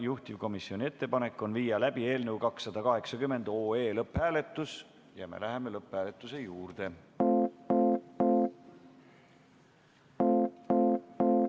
Juhtivkomisjoni ettepanek on viia läbi eelnõu 280 lõpphääletus ja me läheme lõpphääletuse juurde.